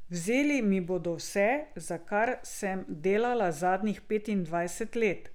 Vzeli mi bodo vse, za kar sem delala zadnjih petindvajset let.